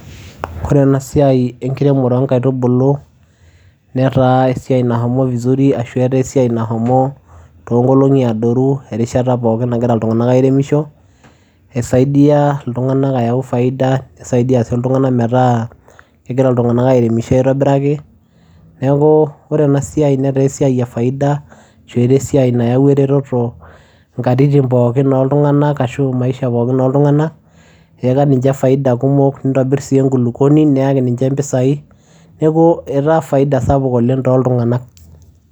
Ore ena siai enkiremore onkaitubulu netaa esiai nashomo vizuri ashu etaa esiai nashomo tonkolongi adoru erishata pookin nagira iltunganak airemisho . Esaidia iltunganak ayau faida , nisaidia sii iltunganak metaa kegira iltunganak airemisho aitobiraki .Neeku ore ena siai netaa esiai e faida ashu etaa esiai nayawua ereteto nkatitin pookin oltunganak ashu maisha pookin oltunganak , eyaka ninche faida kumok nitobir sii enkulupuoni , neyaki ninche mpisai , neaku etaa faia sapuk oleng toltunganak.